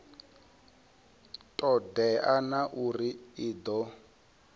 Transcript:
todea na uri i do